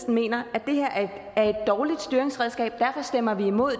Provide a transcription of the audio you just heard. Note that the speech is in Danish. mener at det her er et dårligt styringsredskab og derfor stemmer vi imod